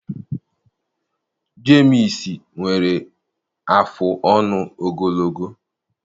Jemịs nwere afụ ọnụ ogologo.